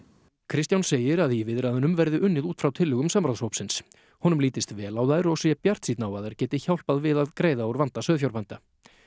Kristján segir að í viðræðunum verði unnið út frá tillögum samráðshópsins honum lítist vel á þær og sé bjartsýnn á að þær geti hjálpað við að greiða úr vanda sauðfjárbænda